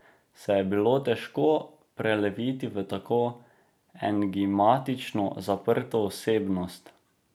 Se je bilo težko preleviti v tako enigmatično, zaprto osebnost?